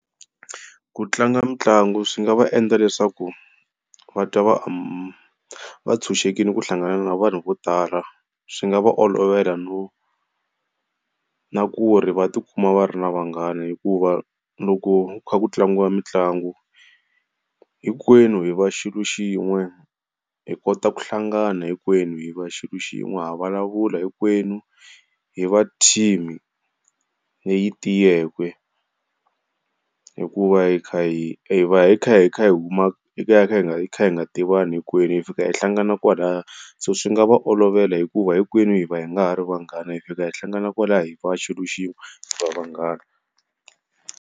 Ku tlanga mitlangu swi nga va endla leswaku va twa va amu tshunxekile ku hlangana na vanhu vo tala. Swi nga va olovela no na ku ri va tikuma va ri na vanghana, hikuva loko kha ku tlangiwa mitlangu hinkwenu hi va xilo xin'we. Hi kota ku hlangana hinkwenu hi va xilo xin'we ha vulavula hinkwenu hi va-team-i leyi tiyeke, hikuva hi kha hi hi kha hi huma hi va kha hi nga tivani hinkwenu, hi fika hi hlangana, hinkwenu hi fika hi hlangana kwalaya so swi nga va olovela hikuva hinkwenu hi va hi nga ha ri vanghana hi fika hi hlangana kwalaha hi va xilo xin'we hi va vanghana.